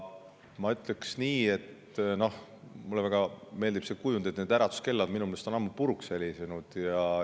Ma ütleksin nii, mulle väga meeldib see kujund, et äratuskellad on ammu puruks helisenud.